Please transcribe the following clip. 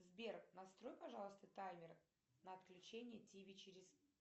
сбер настрой пожалуйста таймер на отключение тиви через